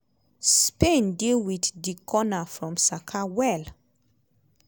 spain deal with di corner from saka well.